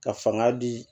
Ka fanga di